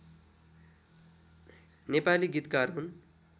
नेपाली गीतकार हुन्